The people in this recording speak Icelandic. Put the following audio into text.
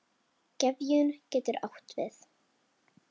Gefjun getur átt við